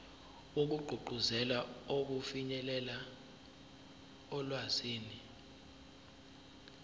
wokugqugquzela ukufinyelela olwazini